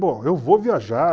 Bom, eu vou viajar.